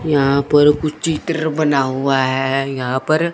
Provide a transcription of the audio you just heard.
यहां पर कुछ चित्र बना हुआ है यहां पर--